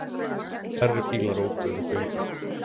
Færri bílar óku um göngin